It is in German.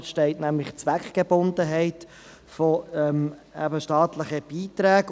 Dort steht die Zweckgebundenheit der staatlichen Beiträge.